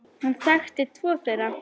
Hann þekkti tvo þeirra.